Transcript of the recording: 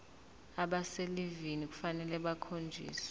abaselivini kufanele bakhonjiswe